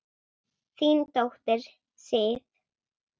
Þín dóttir, Sif.